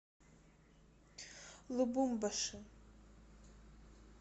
лубумбаши